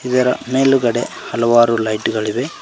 ಇದರ ಮೇಲ್ಗಡೆ ಹಲವಾರು ಲೈಟ್ ಗಳಿವೆ.